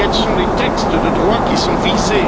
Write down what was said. Quels sont les textes de droit qui sont visés?